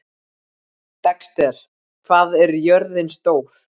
Dexter, hvað er jörðin stór?